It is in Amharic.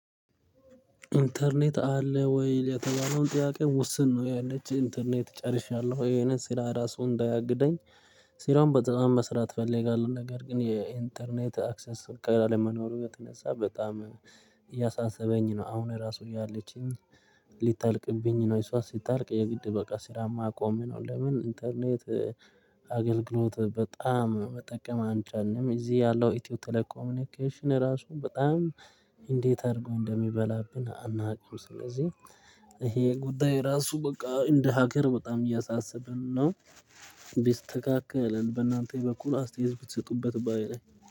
ኢንተርኔት አለ ወይ የተባለውን ጥያቄ ውስን ነው ያለች ኢንተርኔት ጨርሻለሁ ይሄንን ስራ ራሱ እንዳያግደኝ። ስራውን በጣም መስራት እፈለጋለሁ ነገር ግን የኢንተርኔት አክሰስ ካለ መኖሩ የተነሳ በጣም እያሳሰበኝ ነው። አሁን ራሱ እያለችኝ ሊታልቅብኝ ነው እሷ ሲታልቅ የግድ በቃ ስራ የማቆሜ ነው። ለምን ኢንተርኔት? አገልግሎት በጣም መጠቀም አልቻልንም እዚህ ያለው ኢትዮ ቴሌ ኮምኒኬሽን እራሱ በጣም እንዴት አድርጎ እንደሚበላብን አናውቅም። ስለዚህ ይሄ ጉዳይ ራሱ በቃ እንደ ሀገር በጣም እያሳሰብን ነው። ቢስተካከልን በእናንተ በኩል አስተያየት ብትሰጡበት ባይ ነኝ